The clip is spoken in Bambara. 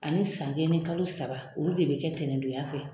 Ani san kelen ni kalo saba olu de bɛ kɛ tɛnɛndonya fɛ